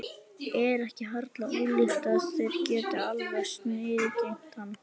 Er ekki harla ólíklegt að þeir geti algerlega sniðgengið hann?